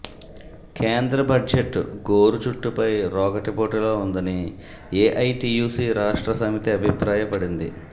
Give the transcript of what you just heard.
కేంద్ర బడ్జెట్ గోరు చుట్టపై రోకటిపోటులా ఉందని ఏఐటీయూసీ రాష్ట్ర సమితి అభిప్రాయపడింది